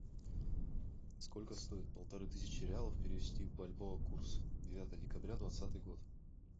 сколько стоит полторы тысячи реалов перевести в бальбоа курс девятое декабря двадцатый год